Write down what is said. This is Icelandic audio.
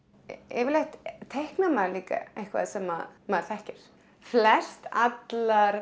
yfirleitt teiknar maður líka eitthvað sem maður þekkir flest allar